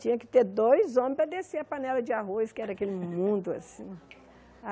Tinha que ter dois homens para descer a panela de arroz, que era aquele mundo, assim.